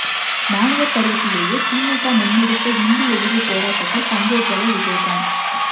மாணவர் பருவத்திலேயே திமுக முன்னெடுத்த ஹிந்தி எதிர்ப்பு போராட்டத்தில் பங்கேற்றவர் விஜயகாந்த்